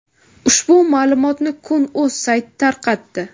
Ushbu ma’lumotni kun.uz sayti tarqatdi.